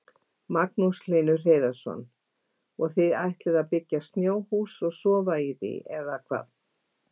Magnús Hlynur Hreiðarsson: Og þið ætlið að byggja snjóhús og sofa í því eða hvað?